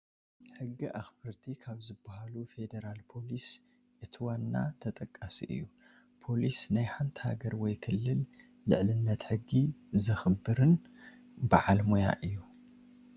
ሕጊ ኣኽበርቲ ካብ ዝባሃሉ ፌዴራል ፓሊስ እቲ ዋና ተጠቃሲ እዩ፡፡ ፓሊስ ናይ ሓንቲ ሃገር ወይ ክልል ልዕልነት ሕጊ ዘሕኽብርን ባዓል ሞያ እዩ፡፡